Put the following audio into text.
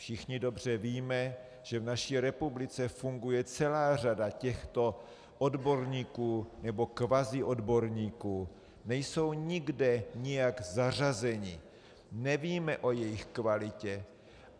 Všichni dobře víme, že v naší republice funguje celá řada těchto odborníků, nebo kvaziodborníků, nejsou nikde nijak zařazeni, nevíme o jejich kvalitě.